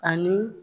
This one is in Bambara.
Ani